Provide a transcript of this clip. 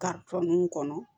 kɔnɔ